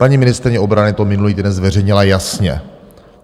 Paní ministryně obrany to minulý týden zveřejnila jasně.